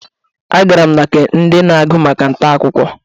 Agara m na nke ndi na-agụ maka nta akụkọ.